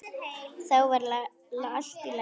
Þá var allt í lagi.